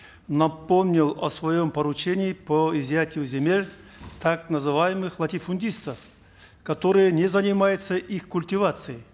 напомнил о своем поручении по изъятию земель так называемых латифундистов которые не занимаются их культивацией